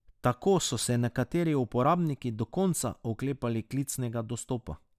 Tako so se nekateri uporabniki do konca oklepali klicnega dostopa.